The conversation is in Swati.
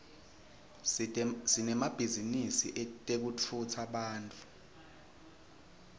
sinemabhizinisi etekutfutsa bantfu